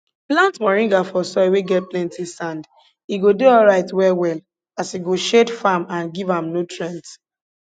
plant moringa for soil wey get plenti sand e go dey alright well well as e go shade farm and give am nutrients